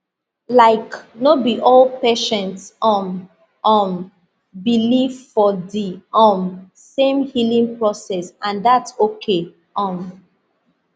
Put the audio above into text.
laik no bi all patients um um believe for di um same healing process and thats okay um